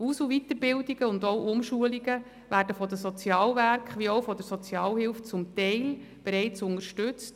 Aus- und Weiterbildungen und auch Umschulungen werden von den Sozialwerken wie auch von der Sozialhilfe zum Teil bereits unterstützt: